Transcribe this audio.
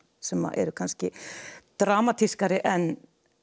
sem eru kannski dramatískari en